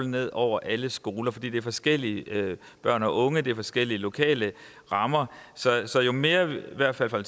ned over alle skoler fordi det er forskellige børn og unge og der er forskellige lokale rammer så jo mere vi i hvert fald fra